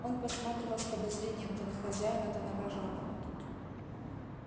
он посматривал с подозрением то на хозяина то на вожатого